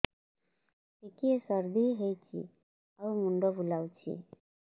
ଟିକିଏ ସର୍ଦ୍ଦି ହେଇଚି ଆଉ ମୁଣ୍ଡ ବୁଲାଉଛି